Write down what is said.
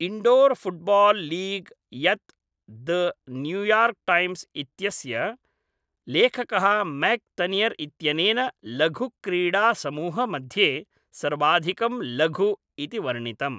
Indoor football league यत् the New York Times इत्यस्य लेखकः मैक् तनियर् इत्यनेन लघुक्रीडासमूहमध्ये सर्वाधिकं लघु इति वर्णितम्।